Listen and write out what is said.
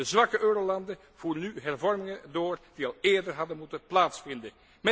De zwakke eurolanden voeren nu hervormingen door die al eerder hadden moeten plaatsvinden.